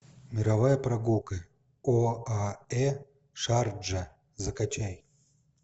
мировая прогулка оаэ шарджа закачай